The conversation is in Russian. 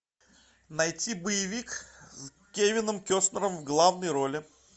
найти боевик с кевин костнером в главной роли